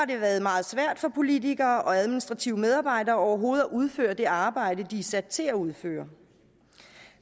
det været meget svært for politikere og administrative medarbejdere overhovedet at udføre det arbejde de er sat til at udføre